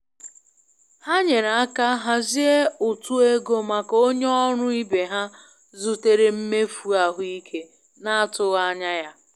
Ha nyere aka hazie utu ego maka onye ọrụ ibe ha zutere mmefu ahụike n'atụghị anya ya.